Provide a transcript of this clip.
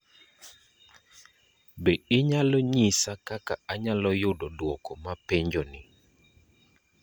Be inyalo nyisa kaka anyalo yudo duoko ma penjoni